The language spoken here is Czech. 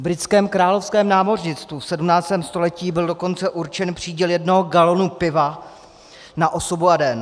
V britském Královském námořnictvu v 17. století byl dokonce určen příděl jednoho galonu piva na osobu a den.